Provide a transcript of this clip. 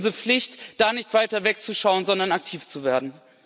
Es ist unsere Pflicht, da nicht weiter wegzuschauen, sondern aktiv zu werden.